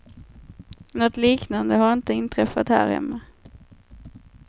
Nåt liknande har inte inträffat här hemma.